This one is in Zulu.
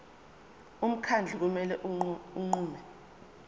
umkhandlu kumele unqume